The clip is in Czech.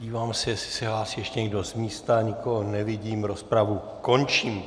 Dívám se, jestli se hlásí ještě někdo z místa, nikoho nevidím, rozpravu končím.